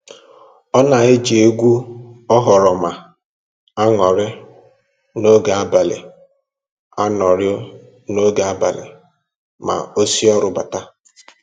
Ọ na-eji egwu oghoroma anọrị n'oge abalị anọrị n'oge abalị ma o si ọrụ bata